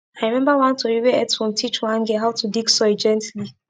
i remember one tori where earthworm teach one girl how to dig soil gently